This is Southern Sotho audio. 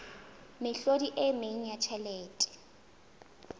mehlodi e meng ya tjhelete